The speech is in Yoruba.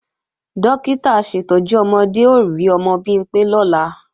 Dókítà aṣètọ́jú ọmọdé ó rí ọmọ Bimpé lọ́la